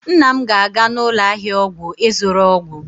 nna m ga-aga n'ụlọ ahịa ọgwụ ịzụrụ ọgwụ